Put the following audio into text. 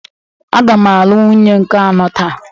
Aga m alụ nwunye nke anọ taa